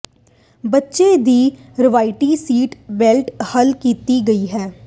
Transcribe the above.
ਬੱਚੇ ਦੀ ਰਵਾਇਤੀ ਸੀਟ ਬੈਲਟ ਹੱਲ ਕੀਤਾ ਗਿਆ ਹੈ